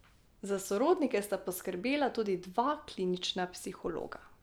Za sorodnike sta poskrbela tudi dva klinična psihologa.